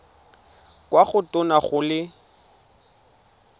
kwa go tona go le